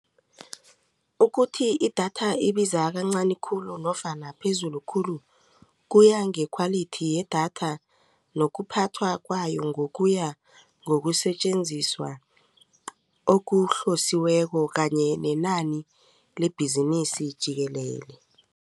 Ukuthi idatha ibiza kancani khulu nofana phezulu khulu kuya nge-quality yedatha nokuphathwa kwayo ngokuya ngokusetjenziswa okuhlosiweko kanye nenani lebhizinisi jikelele.